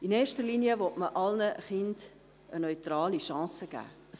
In erster Linie will man allen Kindern eine neutrale Chance geben.